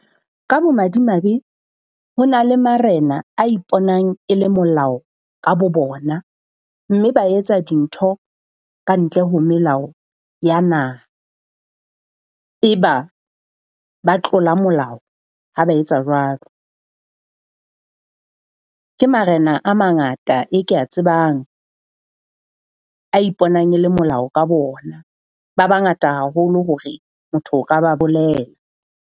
Ka bo madimabe ho na le marena a iponang e le molao ka bo bona. Mme ba etsa dintho ka ntle ho melao ya naha, eba ba tlola molao ha ba etsa jwalo. Ke marena a mangata e ke a tsebang a iponang e le molao ka bo ona. Ba bangata haholo hore motho o ka ba bolela.